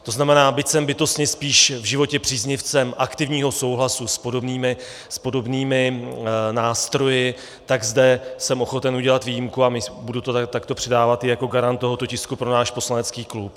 To znamená, byť jsem bytostně spíš v životě příznivcem aktivního souhlasu s podobnými nástroji, tak zde jsem ochoten udělat výjimku a budu to takto předávat i jako garant tohoto tisku pro náš poslanecký klub.